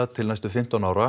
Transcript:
til næstu fimmtán ára